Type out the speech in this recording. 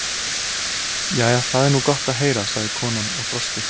Jæja, það er nú gott að heyra, sagði konan og brosti.